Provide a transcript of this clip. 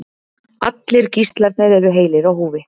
Allir gíslarnir eru heilir á húfi